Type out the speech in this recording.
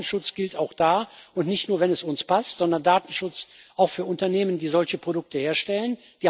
Deshalb Datenschutz gilt auch da, und nicht nur, wenn es uns passt, sondern Datenschutz auch für Unternehmen, die solche Produkte herstellen.